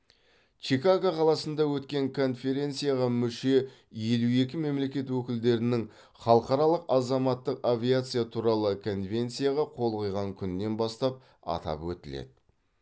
чикаго қаласында өткен конференцияға мүше елу екі мемлекет өкілдерінің халықаралық азаматтық авиация туралы конвенцияға қол қойған күнінен бастап атап өтіледі